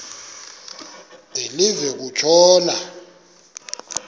de live kutshona